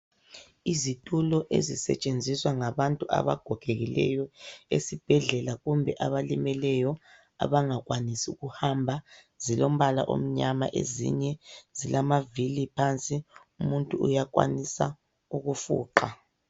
Izitulo ezisetshenziswa ngabantu abagogekileyo esibhedlela kumbe abalimeleyo abangakwanisi ukuhamba zilombala omnyama ezinye zilamavili phansi umuntu uyakwanisa ukufuqa.